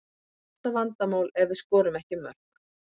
Það er alltaf vandamál ef við skorum ekki mörk.